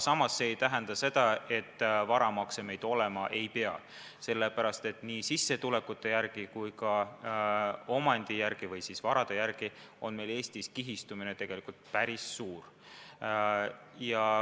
Samas ei tähenda see seda, et varamakse meil olema ei pea, sellepärast et nii sissetulekute kui ka omandi, varade järgi vaadates on Eestis kihistumine päris suur.